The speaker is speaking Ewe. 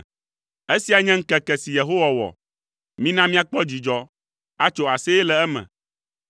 Esia nye ŋkeke si Yehowa wɔ, mina míakpɔ dzidzɔ, atso aseye le eme.